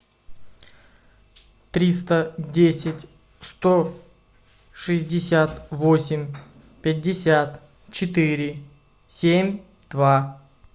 триста десять сто шестьдесят восемь пятьдесят четыре семь два